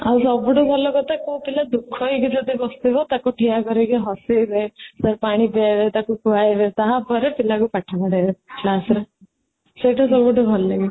ଆଉ ସବୁଠାରୁ ଭଲକଥା କୋଉ ପିଲା ଦୁଃଖ ହେଇକି ଯଦି ବସିଥିବା ତାକୁ ଠିଆ କରେଇକି ହସେଇବେ ତାକୁ ପାଣି ପିଆଇବି ତାକୁ ଖୁଆଇବେ ତାପରେ ପିଲାକି ପାଠ ପଢ଼େଇବେ class ରେ ସେଇଟା ସବୁଠୁ ଭଲ ଲାଗେ